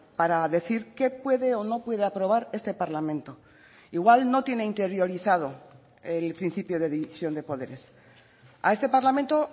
para decir qué puede o no puede aprobar este parlamento igual no tiene interiorizado el principio de división de poderes a este parlamento